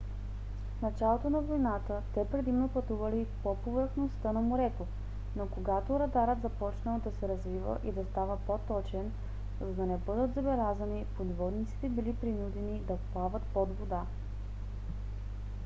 в началото на войната те предимно пътували по повърхността на морето но когато радарът започнал да се развива и да става по-точен за да не бъдат забелязани подводниците били принудени да плават под вода